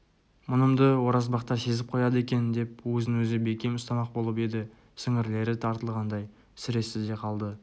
мұнымды оразбақтар сезіп қояды екен деп өзін-өзі бекем ұстамақ болып еді сіңірлері тартылғандай сіресті де қалды